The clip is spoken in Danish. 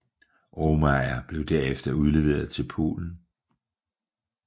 Aumeier blev derefter udleveret til Polen